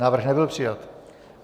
Návrh nebyl přijat.